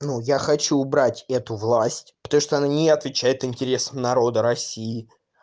ну я хочу убрать эту власть потому что она не отвечает интересам народа россии